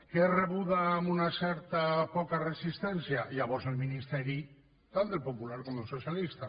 que és rebuda amb una certa poca resistència llavors el ministeri tant del popular com del socialista